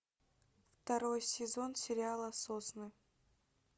второй сезон сериала сосны